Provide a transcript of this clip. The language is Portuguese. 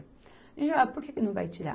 por que que não vai tirar?